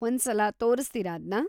ಒಂದ್ಸಲ ತೋರಿಸ್ತೀರಾ ಅದ್ನ?